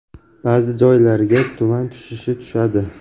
Ba’zi joylarga tuman tushishi tushadi.